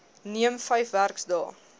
neem vyf werksdae